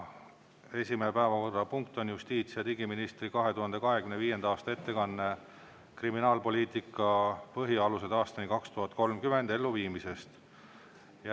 Esimene päevakorrapunkt on justiits- ja digiministri 2025. aasta ettekanne "Kriminaalpoliitika põhialused aastani 2030" elluviimisest.